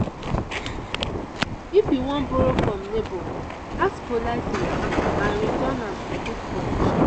if you wan borrow from neighbor ask politely and return am in good condition.